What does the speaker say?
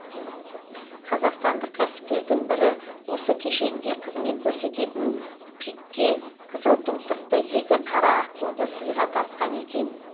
қазақстандық кәсіпкердің бірі осы кешенге қызмет көрсететін пик ке қызыл тұмсықты екі қара аққуды сыйға тартқан екен